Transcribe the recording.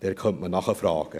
Dort könnte man nachfragen.